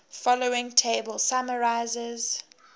following table summarizes